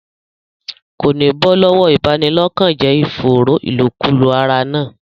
Kò ní bọ́ lọ́wọ́ ìbanilọ́kànjẹ́ ìfòòró ìlòkulò ara náà.